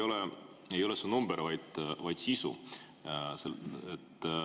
Oluline ei ole see number, vaid sisu.